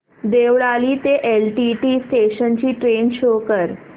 देवळाली ते LTT station ची train show कर